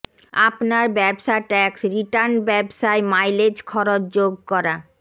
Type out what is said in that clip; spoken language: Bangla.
আপনার ব্যবসা ট্যাক্স রিটার্ন ব্যবসায় মাইলেজ খরচ যোগ করা